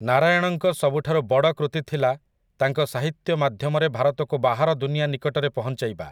ନାରାୟଣଙ୍କ ସବୁଠାରୁ ବଡ଼ କୃତି ଥିଲା ତାଙ୍କ ସାହିତ୍ୟ ମାଧ୍ୟମରେ ଭାରତକୁ ବାହାର ଦୁନିଆ ନିକଟରେ ପହଞ୍ଚାଇବା ।